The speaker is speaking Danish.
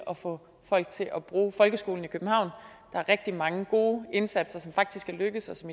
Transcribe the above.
at få folk til at bruge folkeskolen i københavn der er rigtig mange gode indsatser som faktisk er lykkedes og som